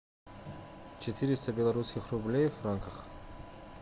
четыреста белорусских рублей в франках